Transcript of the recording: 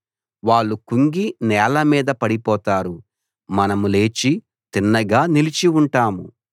వాళ్ళు కుంగి నేల మీద పడిపోతారు మనం లేచి తిన్నగా నిలిచి ఉంటాము